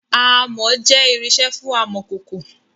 Amọ̀ jẹ irinsẹ́ fún amọ̀kòkò